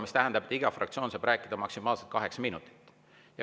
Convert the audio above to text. See tähendab, et iga fraktsioon saab rääkida maksimaalselt kaheksa minutit.